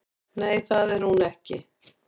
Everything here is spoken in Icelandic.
Nei, það er hún ekki